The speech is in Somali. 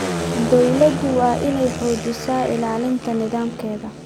Dawladdu waa inay xoojisaa ilaalinta nidaamkeeda.